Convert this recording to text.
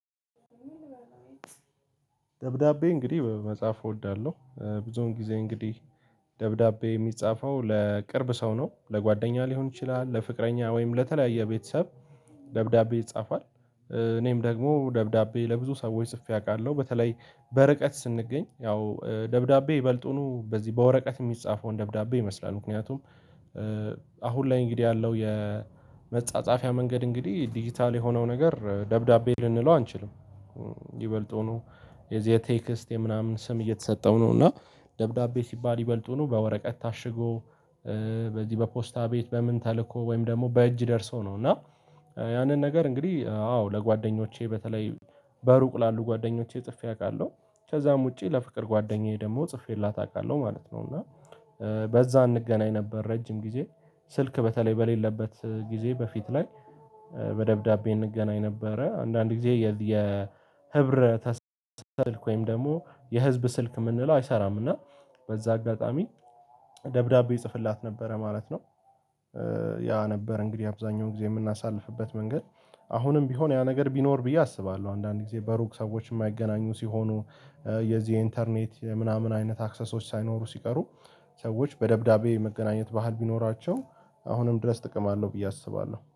ደብዳቤ እንግዲህ መጽሐፍ እወዳለሁ ብዙውን ጊዜ እንግዲህ ደብዳቤ የሚጻፈው ለቅርብ ሰው ነው ለጓደኛ ሊሆን ይችላል ለፍቅረኛ ወይም ለተለያየ ቤተሰብ። ደብዳቤ ይጻፋል። እኔም ደግሞ ደብዳቤ ለብዙ ሰዎች ጽፌ አውቃለሁ። በተለይ በርቀት ስንገኝ ያው ደብዳቤ ይበልጡኑ በዚህ በወረቀት የሚጻፈውን ደብዳቤ ይመስላል። ምክንያቱም አሁን ላይ እንግዲህ ያለው የመጻጻፊያ መንገድ እንግዲህ ዲጂታል የሆነው ነገር ደብዳቤ ልንለው አንችልም። ይበልጡኑ የዝ የቴክስት ምናምን ስም እየተሰጠው ነው። እና ደብዳቤ ሲባል ይበልጡኑ በወረቀት ታሽጎ በዚህ በፖስታ ቤት በምን ተልእኮ ወይም ደግሞ በእጅ ደርሶ ነው። እና ያንን ነገር እንግዲህ አዎ ለጓደኞቼ በተለይ በሩቅ ላሉ ጓደኞቼ ጽፌ አውቃለሁ። ከዛም ውጪ ለፍቅር ጓደኛዬ ደግሞ ጽፌላት አውቃለሁ ማለት ነው። እና በዛ አንገናኝ ነበር ረጅም ጊዜ። ስልክ በተለይ በሌለበት ጊዜ በፊት ላይ በደብዳቤ እንገናኝ ነበረ። አንዳንድ ጊዜ የህብረተሳብ ስልክ ወይም ደግሞ የህዝብ ስልክ የምንለው አይሰራም እና በዛ አጋጣሚ ደብዳቤ ይጽፍላት ነበረ ማለት ነው። ያ ነበር እንግዲህ አብዛኛውን ጊዜ የምናሳልፍበት መንገድ አሁንም ቢሆን ያ ነገር ቢኖር ብዬ አስባለሁ። አንዳንድ ጊዜ በሩቅ ሰዎች የማይገናኙ ሲሆኑ። የዚህ ኢንተርኔት ምናምን አይነት አክሰሶች ሳይኖሩ ሲቀሩ። ሰዎች በደብዳቤ መገናኘት ባህል ቢኖራቸው አሁንም ድረስ ጥቅም አለው ብዬ አስባለሁ